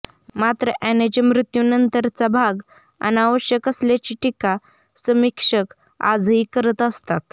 मात्र अॅनाच्या मृत्यूनंतरचा भाग अनावश्यक असल्याची टीका समीक्षक आजही करत असतात